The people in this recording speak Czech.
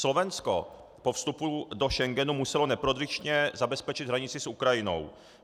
Slovensko po vstupu do Schengenu muselo neprodyšně zabezpečit hranici s Ukrajinou.